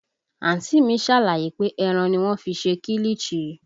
Àǹtí mi ṣàlàyé pé ẹran ni wọ́n fi ń ṣe kilichi